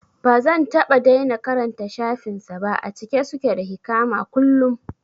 Bazan taɓa daina karanta shafin sa ba, a cike suke da hikama kullum